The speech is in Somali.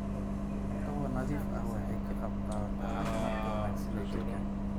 Cunto nadiif ah waxay ka qaybqaadataa caafimaadka wanaagsan ee jidhka.